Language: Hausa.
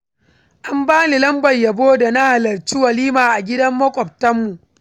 An bani lambar yabo da na halarci walima a gidan makwabtanmu.